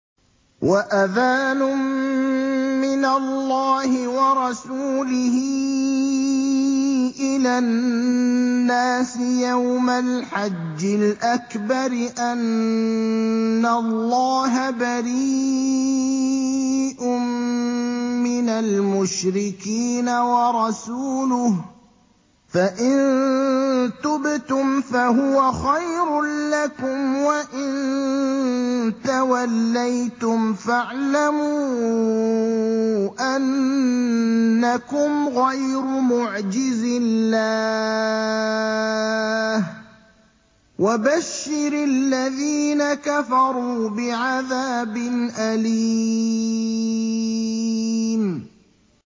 وَأَذَانٌ مِّنَ اللَّهِ وَرَسُولِهِ إِلَى النَّاسِ يَوْمَ الْحَجِّ الْأَكْبَرِ أَنَّ اللَّهَ بَرِيءٌ مِّنَ الْمُشْرِكِينَ ۙ وَرَسُولُهُ ۚ فَإِن تُبْتُمْ فَهُوَ خَيْرٌ لَّكُمْ ۖ وَإِن تَوَلَّيْتُمْ فَاعْلَمُوا أَنَّكُمْ غَيْرُ مُعْجِزِي اللَّهِ ۗ وَبَشِّرِ الَّذِينَ كَفَرُوا بِعَذَابٍ أَلِيمٍ